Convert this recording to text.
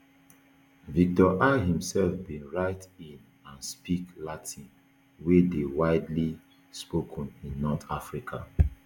victor i imself bin write in and speak latin wey dey widely spoken in north africa